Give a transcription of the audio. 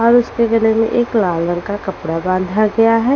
और उसके गले में एक लाल रंग का कपड़ा बांधा गया है।